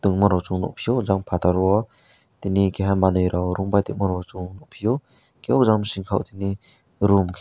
tongmarok nukphio jang phatar raowo tini keha manwi rao rungbai tongma rao chung nukphio hwnkhe o jang bising khao tini room khe.